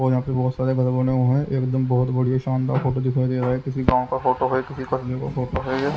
और यहाँ पे बहुत सारे घर बने हुए हैं एकदम बहुत बढ़िया शानदार फोटो दिखाई दे रहा है किसी गाँव का फोटो है किसी कस्बे का फोटो है ये।